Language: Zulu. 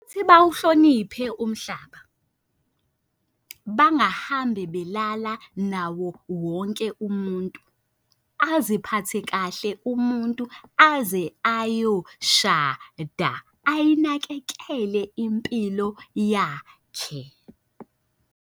Futhi bawuhloniphe umhlaba, bangahambe belala nawo wonke umuntu. Aziphathe kahle umuntu aze ayoshada, ayinakekele impilo yakhe.